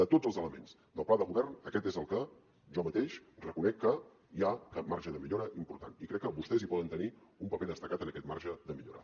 de tots els elements del pla de govern aquest és el que jo mateix reconec que hi ha marge de millora important i crec que vostès hi poden tenir un paper destacat en aquest marge de millora